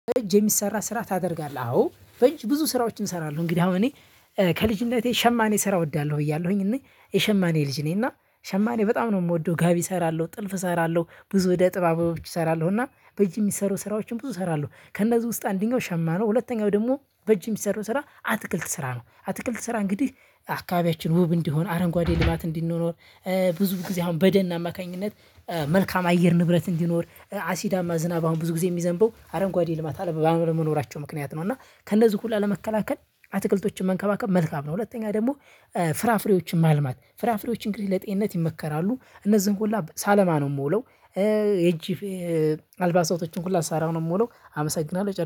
በ እጅ የሚሰራ ስራ ታደርጋለህ? አዎ በእጅ ብዙ ስራዎችን እንሰራሁ እንግዲ አሁን እኔ ከልጅነቴ ሸማኔ ስራ እወዳለሁ ብያለሁኝ እኔ የሸማኔ ልጅ ነኝ እና ሸማኔ በጣም ነው የምወደው ጋቢ እሰራለሁ ጥልፍ እሰራለሁ ብዙ እደ ጥባቦች እሰራለሁ እና በእጅ የሚሰሩ ስራዎችን ብዙ እሰራለሁ ከእነዚህ ውስጥ አንደኛው ሸማ ነው ሁለተኛው ደግሞ በእጅ የሚሰራው ስራ አትክልት ስራ ነው አትክልት ስራ እንግዲህ አካባቢያችን ውብ እንዲሆን አረንጓዴ ልማት እንዲኖር እ ብዙ ጊዜ አሁን በደን አማካኝነት እ መልካም አየር ንብረት እንዲኖር አሲዳማ ዝናብ አሁን ብዙ ጊዜ የሚዘንበው አረንጓዴ ልማት ባለ መኖራቸው ምክንያት ነው እና ከእነዚህ ሁሉ ለመከላከል አትክልቶችን መንከባከብ መልካም ነው። ሁለተኛ ደግሞ እ ፍራፍሬዎችን ማልማት ፍራፍሬዎች እንግዲህ ለጤንነት ይመከራሉ እነዚህን ሁላ ሳለማ ነው የምውለው እ የጅፍ አልባሳቶችን ሁሉ ስሰራ ነው የምውለው አመሰግናለሁ ጨርሻለሁ።